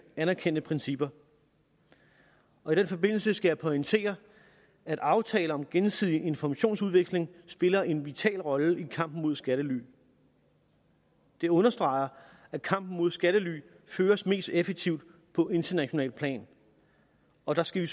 anerkendte principper og i den forbindelse skal jeg pointere at aftaler om gensidig informationsudveksling spiller en vital rolle i kampen mod skattely det understreger at kampen mod skattely føres mest effektivt på internationalt plan og der skal